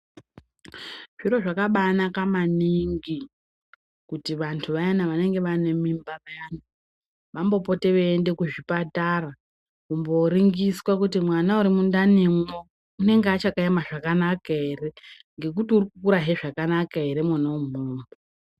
Zviro zvakabanaka maningi kuti vantu vayani vanenge vane mimba vayani vamvopote veienda kuzvipatara kumboringiswa kuti mwana uri mundanimwo unenge achakaema zvakanaka ere, ngekuti uri kukura zvakanaka ere mwona umwomwo.